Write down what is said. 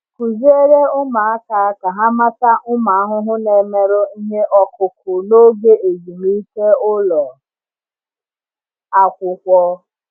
Kụziere ụmụaka ka ha mata ụmụ ahụhụ na-emerụ ihe ọkụkụ n’oge ezumike ụlọ akwụkwọ.